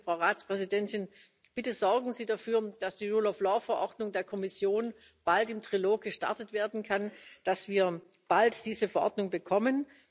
Deswegen, Frau Ratspräsidentin, bitte sorgen Sie dafür, dass die Rule of Law Verordnung der Kommission bald im Trilog gestartet werden kann, damit wir bald diese Verordnung bekommen.